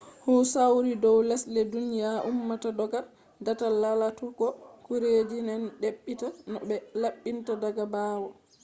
hu sauri dow lesde duniya ummata dogga datal lalatugo gureji den dabbita no be labbinta daga baawo